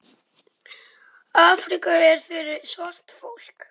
Afríka er fyrir svart fólk.